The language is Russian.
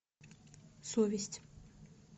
совесть